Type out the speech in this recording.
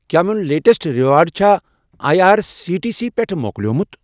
کیٛاہ میون latest reward چھا I R C T C پٮ۪ٹھٕ مۄکلیوٚومُت؟